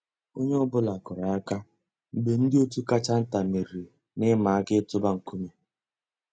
Ónyé ọ̀ bụ́là kùrù àkà mg̀bé ndị́ ótú kàchà ntá mèrírí n'ị̀màà àká ị̀tụ́bà nkúmé.